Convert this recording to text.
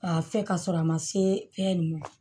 K'a fɛ ka sɔrɔ a ma se fɛn ninnu ma